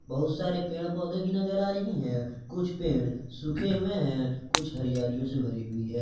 बहुत सारे पेड़ पौधे भी नजर आ रही है कुछ पेड़ सूखे हुए हैं कुछ हरियालियों से भरी हुई है।